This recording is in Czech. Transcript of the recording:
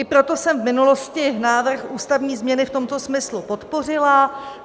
I proto jsem v minulosti návrh ústavní změny v tomto smyslu podpořila.